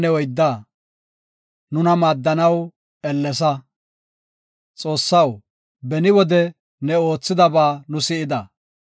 Xoossaw, beni wode ne oothidaba nu si7ida; nu aawata wode ne oothidaba nuus odidosona.